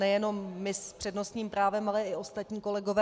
Nejenom my s přednostním právem, ale i ostatní kolegové.